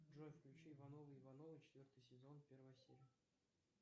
джой включи ивановы ивановы четвертый сезон первая серия